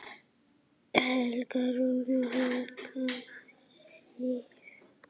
Helga Rún og Hekla Sif.